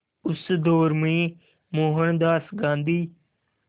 उस दौर में मोहनदास गांधी